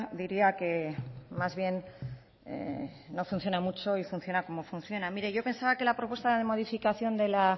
diría que más bien no funciona mucho y funciona como funciona mire yo pensaba que la propuesta de modificación de la